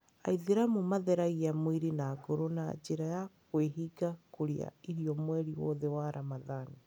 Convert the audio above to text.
Aithĩramu matheragia mwĩrĩ na ngoro na njĩra ya kwĩhinga kũrĩa irio mweri wothe wa Ramadhan.